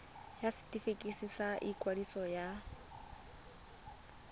ya setefikeiti sa ikwadiso ya